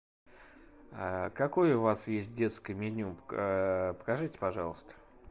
какое у вас есть детское меню покажите пожалуйста